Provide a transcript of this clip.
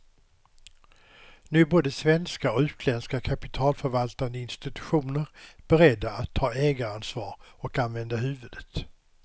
Nu är både svenska och utländska kapitalförvaltande institutioner beredda att ta ägaransvar och använda huvudet.